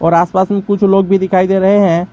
आसपास में कुछ लोग भी दिखाई दे रहे हैं।